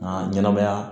Nka ɲɛnɛmaya